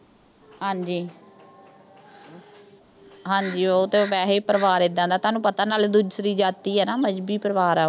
ਹਾਂਜੀ ਉਹ ਤਾਂ ਵੈਸੇ ਹੀ ਪਰਿਵਾਰ ਏਦਾਂ ਦਾ। ਤੁਹਾਨੂੰ ਪਤਾ ਨਾਲੇ ਦੂਸਰੀ ਜਾਤੀ ਆ ਨਾ ਮਜ਼੍ਹਬੀ ਪਰਿਵਾਰ।